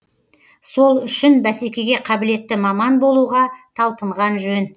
сол үшін бәсекеге қабілетті маман болуға талпынған жөн